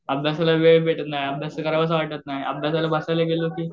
अभ्यासाला वेळ भेटत नाही, अभ्यास करू वाटत नाही, अभ्यासाला बसायला गेलं की